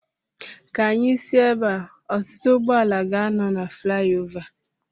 Ka anyị si ebea. Ọtụtụ ụgbọala ga-anọ na flayova